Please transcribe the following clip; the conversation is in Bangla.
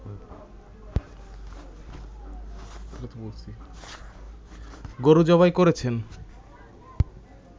গরু জবাই করেছেন